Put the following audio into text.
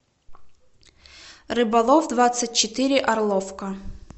рыболов двадцать четыре орловка